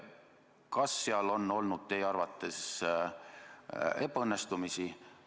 Kas seal on olnud teie arvates ebaõnnestumisi?